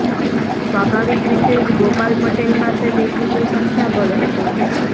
સ્વાભાવિક રીતે જ ગોપાલ પટેલ પાસે દેખીતુ સંખ્યાબળ હતું